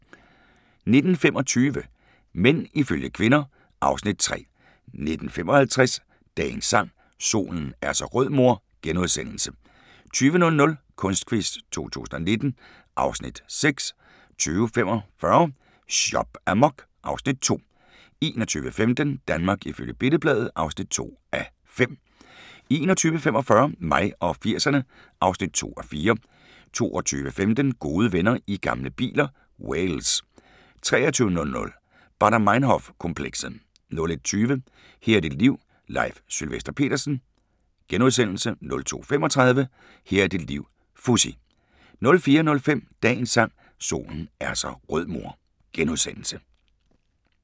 19:25: Mænd ifølge kvinder (Afs. 3) 19:55: Dagens Sang: Solen er så rød mor * 20:00: Kunstquiz 2019 (Afs. 6) 20:45: Shop amok (Afs. 2) 21:15: Danmark ifølge Billed-Bladet (2:5) 21:45: Mig og 80'erne (2:4) 22:15: Gode venner i gamle biler - Wales 23:00: Baader Meinhof-komplekset 01:20: Her er dit liv – Leif Sylvester Petersen * 02:35: Her er dit liv - Fuzzy